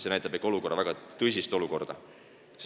See näitab ikka väga tõsist olukorda.